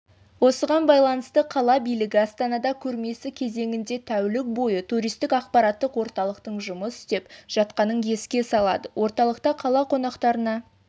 осыған байланысты қала билігі астанада көрмесі кезеңінде тәулік бойы туристік ақпараттық орталықтың жұмыс істеп жатқанын еске салады орталықта қала қонақтарына